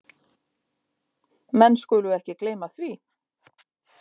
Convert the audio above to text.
Menn skulu ekki gleyma því.